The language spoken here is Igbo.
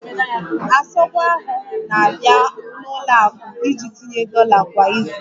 Asogwa ahụ na-abịa n'ụlọ akụ iji tinye dollar kwa izu